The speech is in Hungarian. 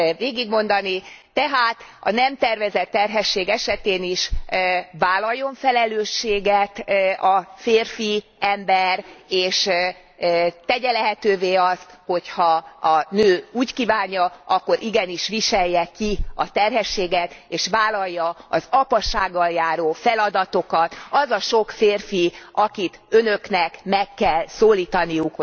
végigmondani tehát, a nem tervezett terhesség esetén is vállaljon felelősséget a férfi ember, és tegye lehetővé azt, hogy ha a nő úgy kívánja, akkor igenis viselje a terhességet és vállalja az apasággal járó feladatokat az a sok férfi, akit Önöknek meg kell szólítaniuk.